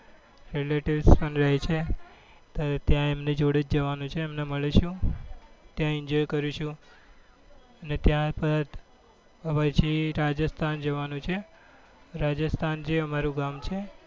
બ relatives રહે છે અને ત્યાં એમની જોડે જ જવાનું છે એમને મળીશું ત્યાં enjoy કરીશું અને ત્યારબાદ રાજસ્થાન જવાનું છે રાજસ્થાન જે અમારું ગામ છે